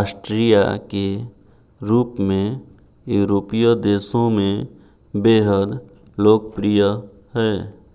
Austria के रूप में यूरोपीय देशों में बेहद लोकप्रिय है